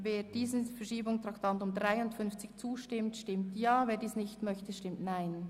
Wer diesem zustimmt, stimmt Ja, wer diesen ablehnt, stimmt Nein.